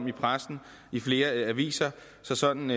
i pressen i flere aviser sådan